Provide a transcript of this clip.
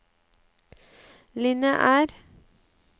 lineær